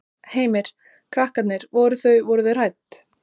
Heimir: Krakkarnir, voru þau, voru þau hrædd?